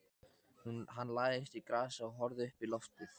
Hann lagðist í grasið og horfði uppí loftið.